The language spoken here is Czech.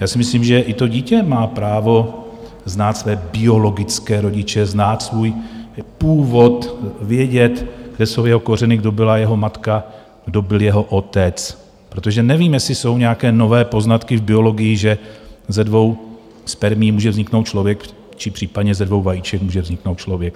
Já si myslím, že i to dítě má právo znát své biologické rodiče, znát svůj původ, vědět, kde jsou jeho kořeny, kdo byla jeho matka, kdo byl jeho otec, protože nevím, jestli jsou nějaké nové poznatky v biologii, že ze dvou spermií může vzniknout člověk, či případně ze dvou vajíček může vzniknout člověk.